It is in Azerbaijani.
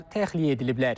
Onlar təxliyə ediliblər.